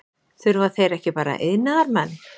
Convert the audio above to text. Þurfa þeir ekki bara iðnaðarmenn?